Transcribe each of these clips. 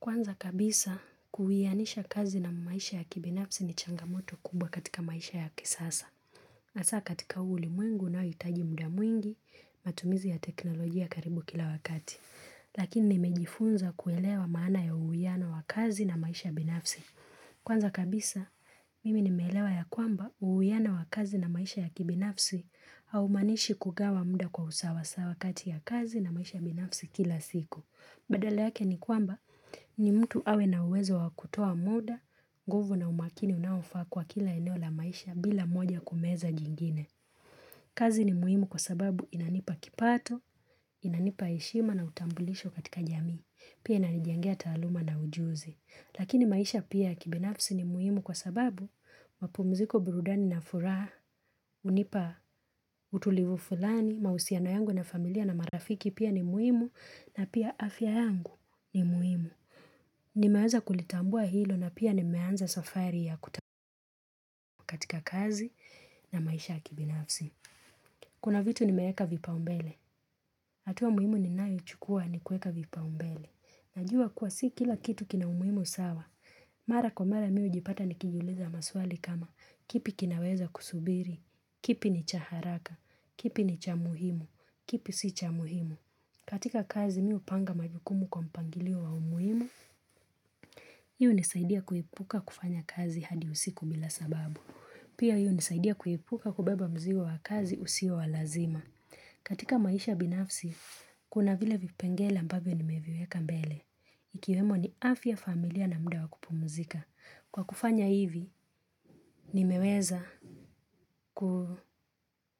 Kwanza kabisa, kuwianisha kazi na maisha ya kibinafsi ni changamoto kubwa katika maisha ya kisasa. Asa katika uli mwingu na uitaji muda mwingi, matumizi ya teknolojia karibu kila wakati. Lakini nimejifunza kuelewa maana ya uwiano wa kazi na maisha ya kibinafsi. Kwanza kabisa, mimi nimelewa ya kwamba uwiano wa kazi na maisha ya kibinafsi au maanishi kugawa mda kwa usawasaw akati ya kazi na maisha ya kibinafsi kila siku. Badale yake ni kwamba ni mtu awe na uwezo wakutoa muda, guvu na umakini unawafaa kwa kila eneo la maisha bila moja kumeza jingine. Kazi ni muhimu kwa sababu inanipa kipato, inanipa heshima na utambulisho katika jamii, pia inanijengea taluma na ujuzi. Lakini maisha pia kibinafsi ni muhimu kwa sababu mapumziko burudani na furaha, unipa utulivu fulani, mausiano yangu na familia na marafiki pia ni muhimu na pia afya yangu ni muhimu. Nimeweza kulitambua hilo na pia nimeanza safari ya kutamu katika kazi na maisha kibinafsi. Kuna vitu nimeeka vipa umbele. Atua muhimu ninayo chukua ni kueka vipa umbele. Najua kuwa si kila kitu kina umuhimu sawa. Mara kwa mara miu jipata nikijiuliza maswali kama kipi kinaweza kusubiri, kipi ni cha haraka, kipi ni chamuhimu, kipi si chamuhimu. Katika kazi mi upanga majukumu kwa mpangilio wa umuhimu. Hii hunisaidia kuepuka kufanya kazi hadi usiku bila sababu. Pia hii unisaidia kuepuka kubeba mzigo wa kazi usio wa lazima. Katika maisha binafsi, kuna vile vipengele ambabio ni meviweka mbele. Ikiwemo ni afya familia na mda wakupumuzika Kwa kufanya hivi, nimeweza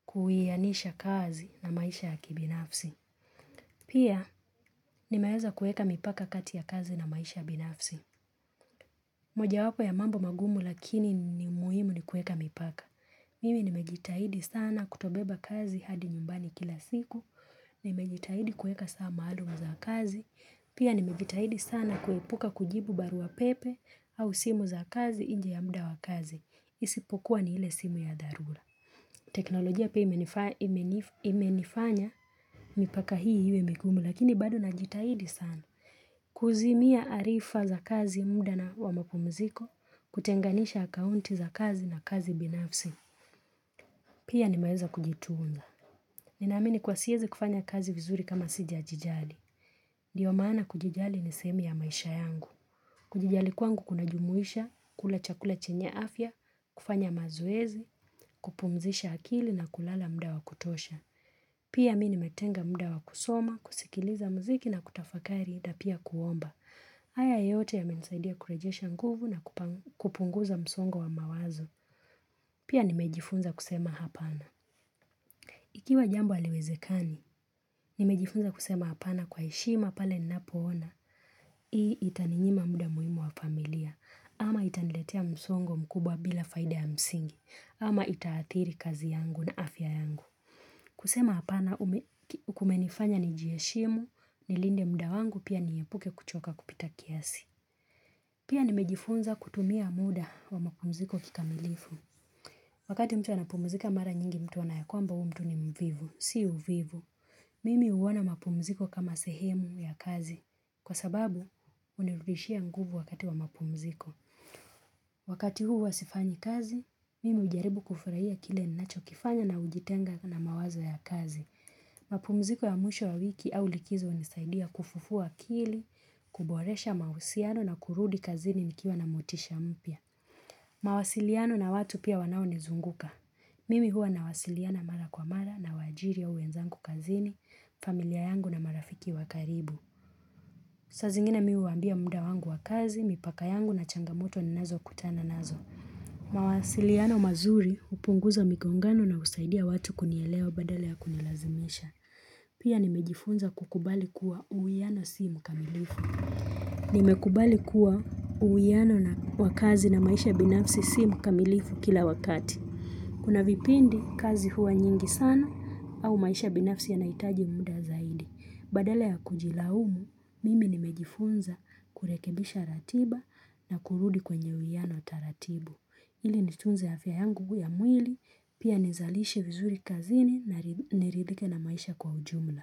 kuianisha kazi na maisha ya kibinafsi Pia, nimeweza kueka mipaka kati ya kazi na maisha ya binafsi moja wako ya mambo magumu lakini ni muhimu ni kueka mipaka Mimi nimejitahidi sana kutobeba kazi hadi nyumbani kila siku Nimejitahidi kuweka saa maalumu za kazi Pia nimejitahidi sana kuepuka kujibu baru pepe au simu za kazi inje ya muda wa kazi. Isipokuwa ni ile simu ya dharura. Teknolojia pia imenifanya mipaka hii iwe migumu lakini badu najitahidi sana. Kuzimia taarifa za kazi muda wa mapumziko kutenganisha akaunti za kazi na kazi binafsi. Pia nimayeza kujituunza. Ninamini kwa siezi kufanya kazi vizuri kama sija jijali. Ndio maana kujijali nisemi ya maisha yangu. Kujijali kwangu kuna jumuisha, kula chakula chenye afya, kufanya mazoezi, kupumzisha akili na kulala mda wa kutosha. Pia mi nimetenga mda wa kusoma, kusikiliza mziki na kutafakari na pia kuomba. Haya yote ya mensaidia kurejesha nguvu na kupunguza msongo wa mawazo. Pia nimejifunza kusema hapana. Ikiwa jambu aliwezekani, nimejifunza kusema hapana kwa heshima pale ninapo ona. Hii itaninyima muda muimu wa familia ama itaniletea msongo mkubwa bila faida ya msingi ama itaathiri kazi yangu na afya yangu kusema apana kumenifanya ni jieshimu Nilinde mda wangu pia niepuke kuchoka kupita kiasi Pia nimejifunza kutumia muda wa makumziko kikamilifu Wakati mtu anapumzika mara nyingi mtu huonakwamba huyu mtu ni mvivu Si uvivu Mimi uwona mapumziko kama sehemu ya kazi Kwa sababu, unirudishia nguvu wakati wa mapumziko. Wakati huu wasifanyi kazi, mimi ujaribu kufurahia kile ninacho kifanya na ujitenga na mawaza ya kazi. Mapumziko ya mwisho ya wiki au likizo unisaidia kufufua kili, kuboresha mausiano na kurudi kazini nikiwa na motisha mpya. Mawasiliano na watu pia wanao nizunguka. Mimi hua na wasiliana mara kwa mara na wajiri ya uenzangu kazini, familia yangu na marafiki wakaribu. Saa zingine mi huwaambia mda wangu wakazi, mipaka yangu na changamoto ni nazo kutana nazo. Mawasiliano mazuri upunguza migongano na usaidia watu kunieleo badala ya kunilazimisha. Pia nimejifunza kukubali kuwa uwiano si mkamilifu. Nimekubali kuwa uwiano wa kazi na maisha binafsi si mkamilifu kila wakati. Kuna vipindi kazi huwa nyingi sana au maisha binafsi yanaitaji mda zaidi. Badala ya kujilaumu, mimi nimejifunza kurekebisha ratiba na kurudi kwenye uwiano taratibu. Ili nitunze ya fya yangu ya mwili, pia nizalishi vizuri kazini niridhike na maisha kwa ujumla.